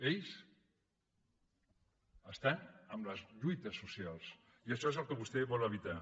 ells estan amb les lluites socials i això és el que vostè vol evitar